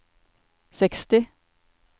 seksti